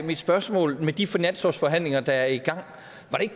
mit spørgsmål med de finanslovsforhandlinger der er i gang